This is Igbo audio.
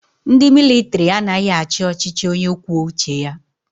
Ndi militari anaghi achi ọchichi onye kwuo uche ya